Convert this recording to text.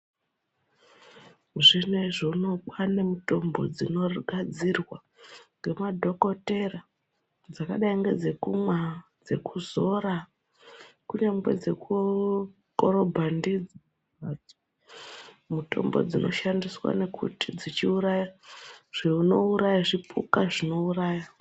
Zvinezvi unou kwaane mitombo dzinogadzirwa ngemadhokodheya dzakadai ngedzekumwa, dzekuzora kunyangwe dzekukorobha ndidzo. Mitombo dzinoshandiswa ngekuti dzinenge dzechiuraya zvipuka zvinenge zvichiurauya.